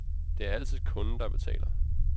Det er altid kunden, der betaler.